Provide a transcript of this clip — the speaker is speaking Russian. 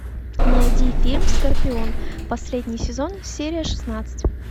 найди фильм скорпион последний сезон серия шестнадцать